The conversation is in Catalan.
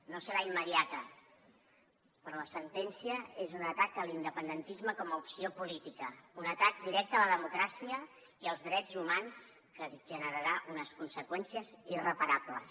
no serà immediata però la sentència és un atac a l’independentisme com a opció política un atac directe a la democràcia i als drets humans que generarà unes conseqüències irreparables